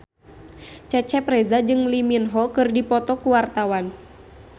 Cecep Reza jeung Lee Min Ho keur dipoto ku wartawan